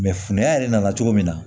fundɛ yɛrɛ nana cogo min na